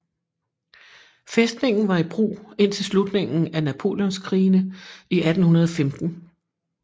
Fæstningen var i brug indtil slutningen af napoleonskrigene i 1815